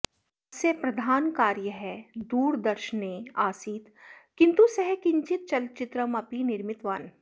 तस्य प्रधानकार्यः दूरदर्शने आसीत् किन्तु सः किञ्चित् चलचित्रमपि निर्मितवान्